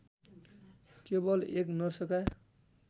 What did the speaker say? केवल एक नर्सका